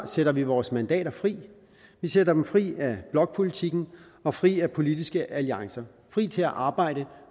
sætter vi vores mandater fri vi sætter dem fri af blokpolitikken og fri af politiske alliancer fri til at arbejde